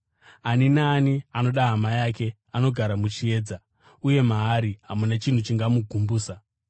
Ani naani anoda hama yake anogara muchiedza, uye maari hamuna chinhu chingamugumbusa.